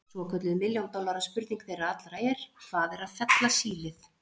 Svokölluð milljón dollara spurning þeirra allra er: Hvað er að fella sílið?